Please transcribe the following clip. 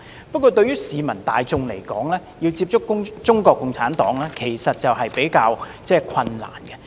不過，對市民大眾來說，要接觸中國共產黨較為困難。